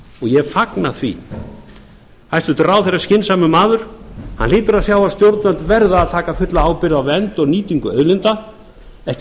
ég fagna því hæstvirtur ráðherra er skynsamur maður hann hlýtur að sjá að stjórnvöld verða að taka fulla ábyrgð á vernd eða nýtingu auðlinda ekki